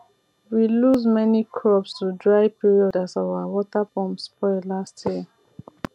we lose many crops to dry period as our water pump spoil last year